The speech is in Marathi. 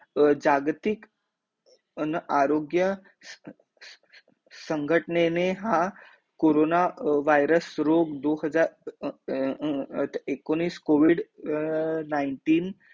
जागतिक अं आरोग्य, संघटने ने हा कोरोना वायरस रोग दो हजार अ अ एकोणीस covid nineteen